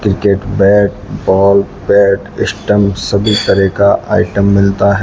cricket bat ball pad stumps सभी तरह का आइटम मिलता--